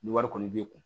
Ni wari kɔni b'i kun